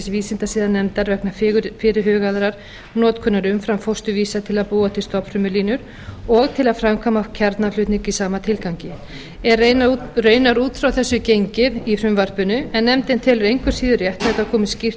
vísindasiðanefndar vegna fyrirhugaðrar notkunar umframfósturvísa til að búa til stofnfrumulínur og til að framkvæma kjarnaflutning í sama tilgangi er raunar út frá þessu gengið í frumvarpinu en nefndin telur engu síður rétt að þetta komi skýrt